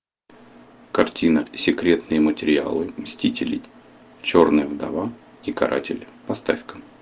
картина секретные материалы мстители черная вдова и каратель поставь ка